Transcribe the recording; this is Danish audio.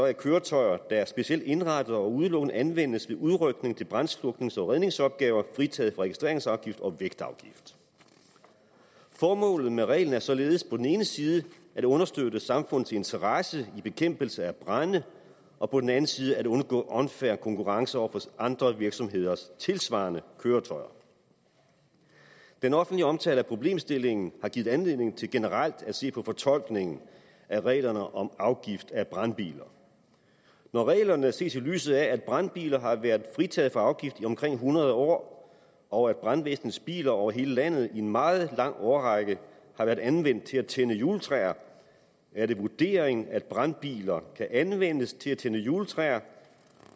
er køretøjer der er specielt indrettet og udelukkende anvendes ved udrykning til brandsluknings og redningsopgaver fritaget for registreringsafgift og vægtafgift formålet med reglen er således på den ene side at understøtte samfundets interesse i bekæmpelse af brande og på den anden side at undgå unfair konkurrence over for andre virksomheders tilsvarende køretøjer den offentlige omtale af problemstillingen har givet anledning til generelt at se på fortolkningen af reglerne om afgift af brandbiler når reglerne ses i lyset af at brandbiler har været fritaget for afgift i omkring hundrede år og at brandvæsnets biler over hele landet i en meget lang årrække har været anvendt til at tænde juletræer er det vurderingen at brandbiler kan anvendes til at tænde juletræer